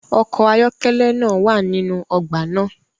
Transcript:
ọkọ̀ ayọ́kẹ́lẹ́ naa wa ninu ogba naa